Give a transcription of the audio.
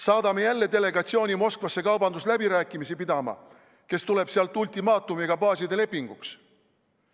Saadame jälle delegatsiooni Moskvasse kaubandusläbirääkimisi pidama, aga see tuleb sealt ultimaatumiga baaside lepinguks?